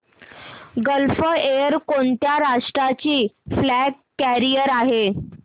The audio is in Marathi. गल्फ एअर कोणत्या राष्ट्राची फ्लॅग कॅरियर आहे